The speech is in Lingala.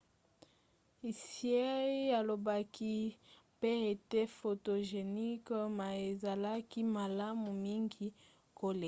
hsieh alobaki pe ete photogenic ma ezalaki malamu mingi koleka